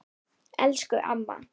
Elsku amma.